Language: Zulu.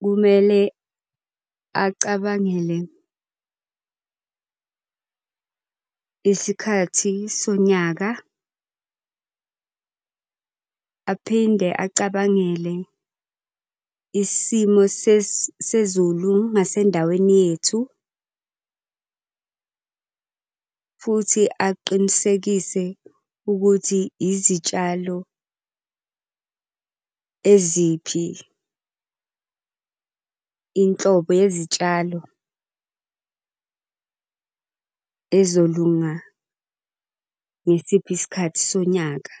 kumele acabangele isikhathi sonyaka, aphinde acabangele isimo sezulu ngasendaweni yethu. Futhi aqinisekise ukuthi izitshalo eziphi inhlobo yezitshalo ezolunga ngesiphi isikhathi sonyaka.